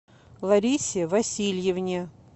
ларисе васильевне